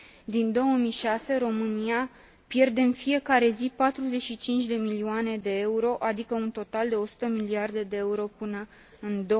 Din 2006, România pierde în fiecare zi 45 de milioane de euro, adică un total de 100 de miliarde de euro până în